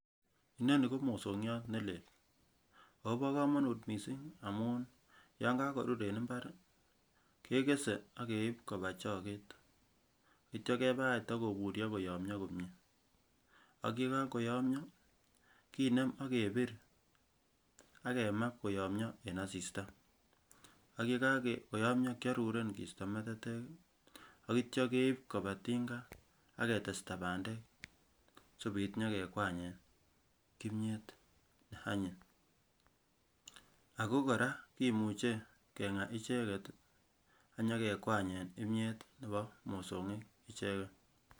inoni ko mosongiot nelel akobo komongut missing amun yan kakorur en mbar kekese akeib koba choget akebakach kotakoburyo koyomyo komyee ak yekakoyomyoo kinem akebir akemaa koyomyoo en asista ak yekakoyomyo kiaruren kisto metetek akitya keib koba tinga aketesta bandeek sikobit kekwanyet kimyet neanyin ak kora kimuche kengaa icheken ak nyokekwanyen kimyet nebo mosongik icheken